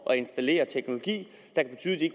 installere teknologi